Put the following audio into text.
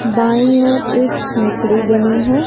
By ओर एक झोपड़ी बनी है।